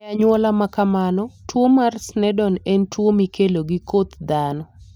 E anyuola ma kamano, tuwo mar Sneddon en tuwo mikelo gi koth dhano.